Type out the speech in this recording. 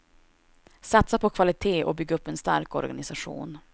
Satsa på kvalitet och bygg upp en stark organisation.